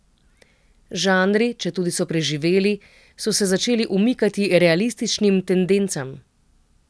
Žanri, četudi so preživeli, so se začeli umikati realističnim tendencam.